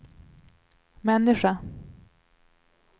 människa